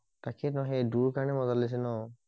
তাকেইটো সেই দুৰ কাৰণে মজা লাগিছে ন